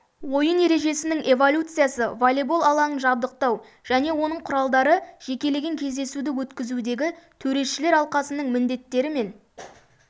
ойын ережесінің эволюциясы волейбол алаңын жабдықтау және оның құралдары жекелеген кездесуді өткізудегі төрешілер алқасының міндеттері мен